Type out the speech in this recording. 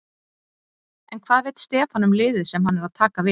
En hvað veit Stefán um liðið sem hann er að taka við?